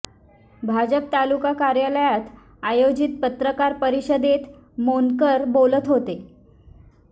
भाजप तालुका कार्यालयात आयोजित पत्रकार परिषदेत मोंडकर बोलत होते